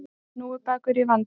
Hnúfubakur í vanda